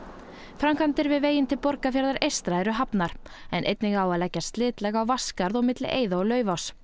framkvæmdir við veginn til Borgarfjarðar eystra eru hafnar en einnig á að leggja slitlag á Vatnsskarð og milli eiða og Laufáss